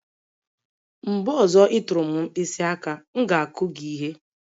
Mgbe ọzọ ị tụrụ m mkpịsị aka, m ga-akụ gị ihe..